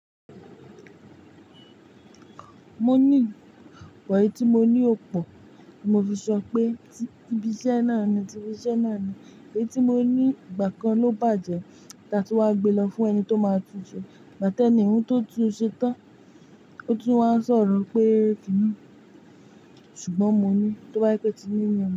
Mo ní but eyi tí mo ní ò pọ̀, mo fi sọ pé tí ibi iṣẹ́ náà ni, ibi iṣẹ́ náà ni. Èyí tí mo ní ìgbà kan ló bàjẹ́ tí a ti wá gbe lọ fún ẹni tó máa tú u ṣe. Ìgbà tí ẹni tí ó tú u ṣe tán, ó tún wá sọ̀rọ̀ pé kí ni. Ṣùgbọ́n mo ní tó bá yé pé tíyín ni.